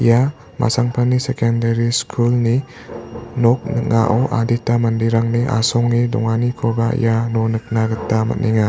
ia masangpani sekendari skulni nok ning·ao adita manderangni asonge donganikoba iano nikna gita man·enga.